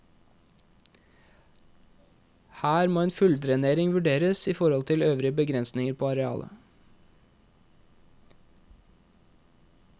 Her må ei fulldrenering vurderes i forhold til øvrige begrensninger på arealet.